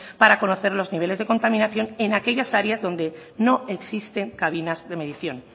para conocer los niveles de contaminación en aquellas áreas donde no existen cabinas de medición